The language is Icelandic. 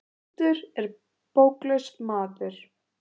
Blindur er bóklaus maður.